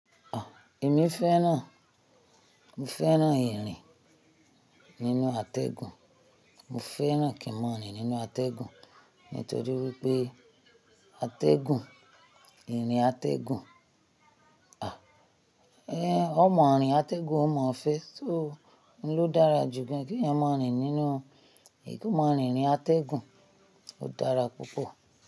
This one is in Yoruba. Ah! Èmi fẹ́ràn, mo fẹ́ràn ìrìn nínú atẹ́gùn, mo fẹ́ràn kimonrin nínú atẹ́gùn, nítorí wípé atẹ́gùn, ìrìn atẹ́gùn, ah! Eh, ọmọ àárín atẹ́gùn ó mọ fẹ́, so òun ló dára jù gán. Kí ẹ máa rìn nínú, máa rìn ní atẹ́gùn ó dára púpọ̀